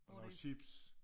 Og chips